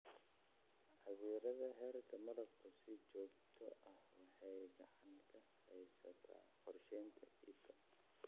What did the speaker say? Cabbiraadda heerka malabka si joogto ah waxay gacan ka geysataa qorsheynta iibka.